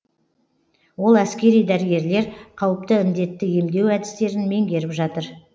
ол әскери дәрігерлер қауіпті індетті емдеу әдістерін меңгеріп жатыр